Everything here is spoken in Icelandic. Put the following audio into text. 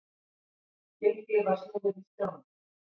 Lykli var snúið í skránni.